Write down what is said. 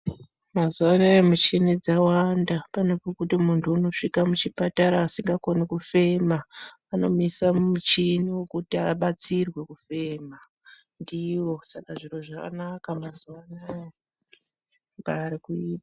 Mazuva anaya muchini dzawanda. Pane pokuti muntu unosvika muchipatara asingakoni kufema, anomuisa mumuchini wokuti abatsirwe kufema ndiwo. Saka zviro zvanaka mazuva anaya.